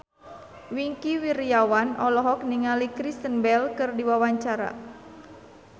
Wingky Wiryawan olohok ningali Kristen Bell keur diwawancara